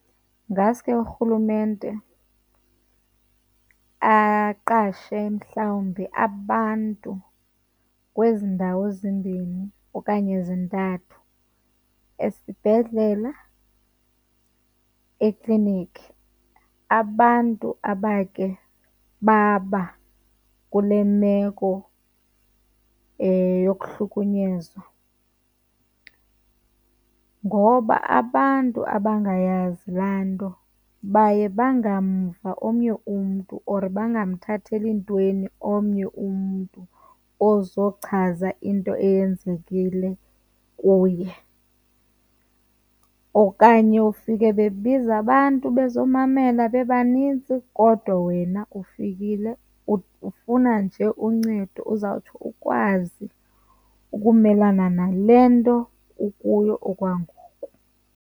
Ngaske urhulumente aqashe mhlawumbi abantu kwezi ndawo zimbini okanye zintathu esibhedlela, ekliniki. Abantu abakhe baba kule meko yokuhlunyezwa, ngoba abantu abangayazi laa nto baye bangamva omnye umntu or bangamthatheli ntweni omnye umntu ozochaza into eyenzekile kuye. Okanye ufike bebiza abantu bazomamela bebanintsi kodwa wena ufikile ufuna nje uncedo uzawuthi ukwazi ukumelana nale nto ukuyo okwangoku.